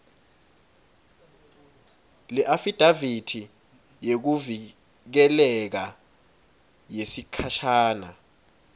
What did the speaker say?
leafidavithi yekuvikeleka yesikhashana